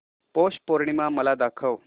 पौष पौर्णिमा मला दाखव